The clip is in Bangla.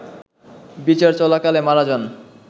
বিচার চলাকালে মারা যান